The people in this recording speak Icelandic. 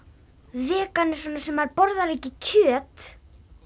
vegan er svona sem borðar ekki kjöt